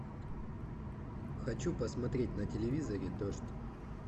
хочу посмотреть на телевизоре дождь